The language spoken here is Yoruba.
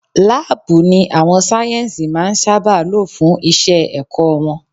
Laabu ni àwọn sáyẹ́nsì máa ń sábà lo fún Iṣẹ́ ẹ̀kọ́ wọn.